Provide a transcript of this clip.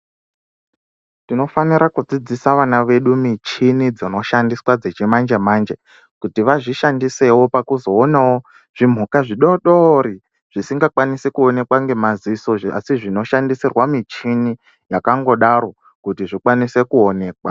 Tinofanira kudzidzisa vana vedu michini dzinoshaswa dzechimanje-manje, kuti vazvishandise pakuzoonavo zvimhuka zvidodori zvisinga kwanisi kuonekwa ngemaziso. Asi zvinoshandisirwa michini yakangodaro kuti zvikwanise kuonekwa.